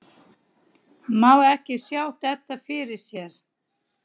Má ekki sjá þetta fyrir sér?